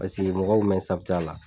Paseke mɔgɔw kun bɛ n a la.